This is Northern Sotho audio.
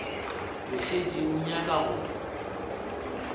o šetše o nyaka go